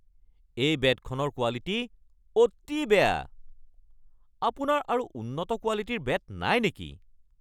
এই বেটখনৰ কোৱালিটী অতি বেয়া। আপোনাৰ আৰু উন্নত কোৱালিটীৰ বেট নাই নেকি?